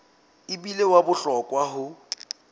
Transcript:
e bile wa bohlokwa ho